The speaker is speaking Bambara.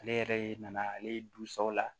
Ale yɛrɛ nana ale dusaw la